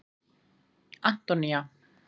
Antonía